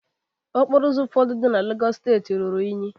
okporo ụzọ ụfọdụ dị na lagos steeti kpọrọ nkụ